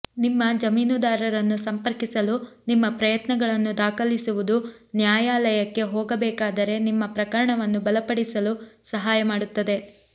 ನಿಮ್ಮ ಜಮೀನುದಾರರನ್ನು ಸಂಪರ್ಕಿಸಲು ನಿಮ್ಮ ಪ್ರಯತ್ನಗಳನ್ನು ದಾಖಲಿಸುವುದು ನ್ಯಾಯಾಲಯಕ್ಕೆ ಹೋಗಬೇಕಾದರೆ ನಿಮ್ಮ ಪ್ರಕರಣವನ್ನು ಬಲಪಡಿಸಲು ಸಹಾಯ ಮಾಡುತ್ತದೆ